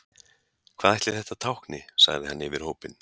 Hvað ætli þetta tákni, sagði hann yfir hópinn.